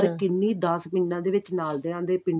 ਅਰ ਕਿੰਨੀ ਦਸ ਪਿਡਾਂ ਦੇ ਵਿੱਚ ਨਾਲ ਦਿਆਂ ਦੇ